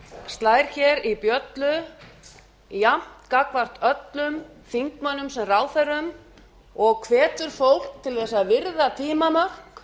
slær í bjöllu jafnt gagnvart öllum þingmönnum sem ráðherrum og hvetur fólk til að virða tímamörk